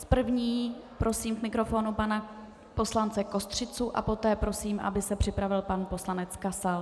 S první prosím k mikrofonu pana poslance Kostřicu a poté prosím, aby se připravil pan poslanec Kasal.